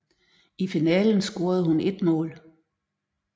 I finalen scorede hun et mål